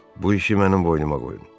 Bu işi mənim boynuma qoyun.